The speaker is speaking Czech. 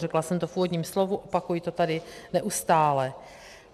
Řekla jsem to v úvodním slovu, opakuji to tady neustále.